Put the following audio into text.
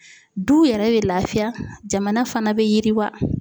Duw yɛrɛ be lafiya jamana fana be yiriwa